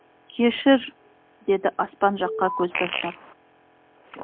кешір деді аспан жаққа көз тастап